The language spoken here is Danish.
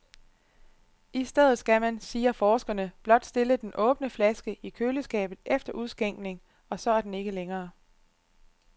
I stedet skal man, siger forskerne, blot stille den åbne flaske i køleskabet efter udskænkning, og så er den ikke længere.